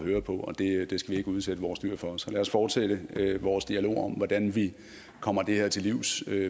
det skal vi ikke udsætte vores dyr for så lad os fortsætte vores dialog om hvordan vi kommer det her til livs